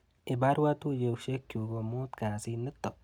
Ibarwa tuiyoshekchu komut kasit nitoo.